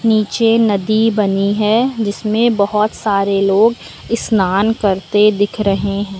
नीचे नदी बनी है जिसमें बहोत सारे लोग स्नान करते दिख रहे हैं।